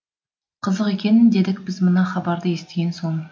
қызық екен дедік біз мына хабарды естіген соң